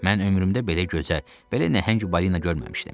Mən ömrümdə belə gözəl, belə nəhəng balina görməmişdim.